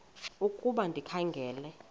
ukuba ndikha ngela